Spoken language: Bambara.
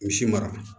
Misi mara